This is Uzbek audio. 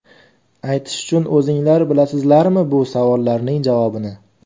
Aytish uchun o‘zinglar bilasizlarmi bu savollarning javobini?